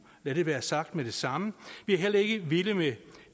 lad det være sagt med det samme vi er heller ikke vilde med